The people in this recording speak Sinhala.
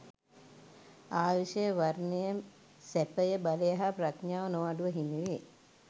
ආයුෂය, වර්ණය, සැපය, බලය හා ප්‍රඥාව නොඅඩුව හිමිවේ.